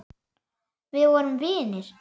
Við vorum vinir.